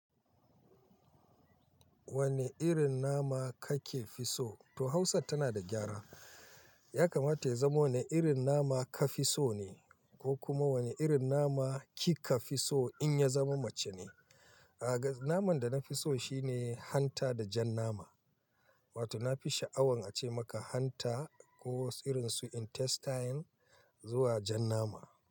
Wane irin nama kake fi so? To Hausa tana da gyara. Ya kamata ya zama wane irin nama ka fi so ne ko kuma wane irin nama kika fi so in ya zama mace ne. A ga naman da na fi so shine hanta da jan nama. Wato na fi sha'awan a ce maka hanta ko irinsu intestine zuwa jan nama.